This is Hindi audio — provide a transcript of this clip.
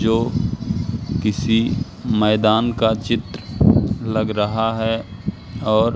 जो किसी मैदान का चित्र लग रहा है और--